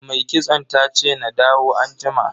Mai kitson tace na dawo anjima.